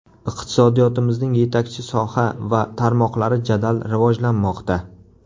Iqtisodiyotimizning yetakchi soha va tarmoqlari jadal rivojlanmoqda.